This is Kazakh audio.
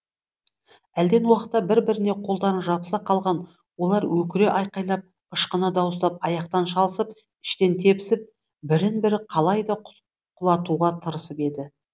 әлден уақытта бір біріне қолдары жабыса қалған олар өкіре айқайлап ышқына дауыстап аяқтан шалысып іштен тебісіп бірін бірі қалайда құлатуға тырысып еді